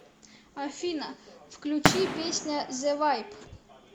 афина включи песня зэ вайб